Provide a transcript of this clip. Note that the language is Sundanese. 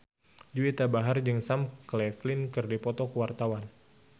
Juwita Bahar jeung Sam Claflin keur dipoto ku wartawan